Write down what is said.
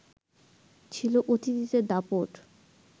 ছিল অতিথিদের দাপট